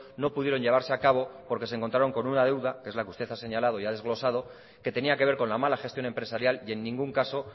no pudieron llevarse a cabo porque se encontraron con una deuda que es la que usted ha señalado y ha desglosado que tenía que ver con la mala gestión empresarial y en ningún caso